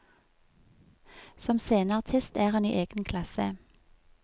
Som sceneartist er hun i egen klasse.